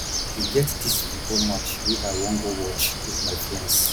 e get dis football match wey i wan go watch with my friends